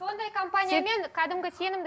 сондай компаниямен кәдімгі сенімді